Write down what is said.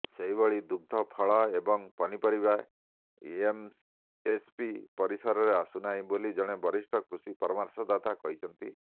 ସେହିଭଳି ଦୁଗ୍ଧ ଫଳ ଏବଂ ପନିପରିବା ଏମ୍ଏସ୍ପି ପରିସରରେ ଆସୁନାହିଁ ବୋଲି ଜଣେ ବରିଷ୍ଠ କୃଷି ପରାମର୍ଶଦାତା କହିଛନ୍ତି